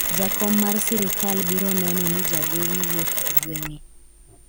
jakom mar sirikal biro neno ni jagowi wuok e gweng'e